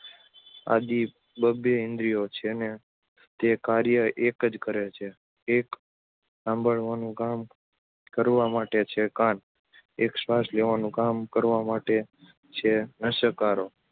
આદિ બબ્બે ઇન્દ્રિયો છે ને તે કાર્ય એક જ કરે છે. એક સાંભળવાનું કામ કરવા માટે છે કાન, એક શ્વાસ લેવાનું કામ કરવા માટે છે નસકોરાં